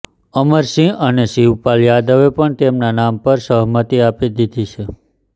અમર સિંહ અને શિવપાલ યાદવે પણ તેમના નામ પર સહમતી આપી દીધી છે